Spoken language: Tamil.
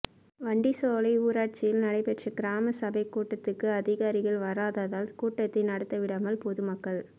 வண்டிசோலை ஊராட்சியில் நடைபெற்ற கிராம சபைக் கூட்டத்துக்கு அதிகாரிகள் வராததால் கூட்டத்தை நடத்த விடாமல் பொதுமக்கள்